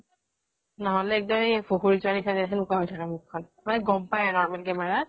নহলে সেই এক্দম সেনেকুৱা হয় থাকে মুখ খন । মানে গম পাই আৰু normal camera ত ।